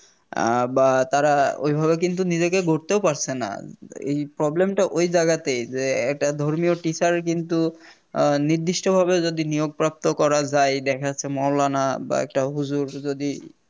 আ বা তারা ঐভাবে কিন্তু নিজেকে গড়তেও পারছে না এই Problem টা ওই জেগাতেই যে একটা ধর্মীয় Teacher কিন্তু নির্দিষ্টভাবে যদি নিয়োগপ্রাপ্ত করা যায় এই দেখা যাচ্ছে মৌলানা বা একটা হুজুর যদি